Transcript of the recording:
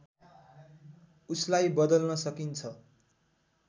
उसलाई बदल्न सकिन्छ